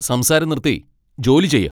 സംസാരം നിർത്തി ജോലി ചെയ്യ് !